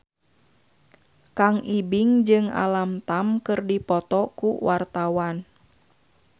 Kang Ibing jeung Alam Tam keur dipoto ku wartawan